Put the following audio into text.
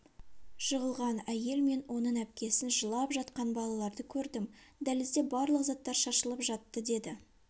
жығылған әйел мен оның әпкесін жылап жатқан балаларды көрдім дәлізде барлық заттар шашылып жатты деді